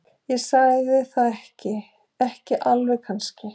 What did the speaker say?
Ég segi það ekki. ekki alveg kannski.